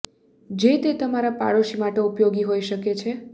જે તે તમારા પાડોશી માટે ઉપયોગી હોઈ શકે છે